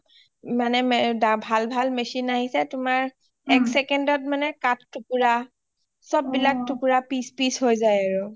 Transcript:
চব মানে ভাল ভাল machine আহিছে মানে এক second ট কাঠ টোকোৰা চব বিলাক টোকোৰা piece piece হয় যাই আৰু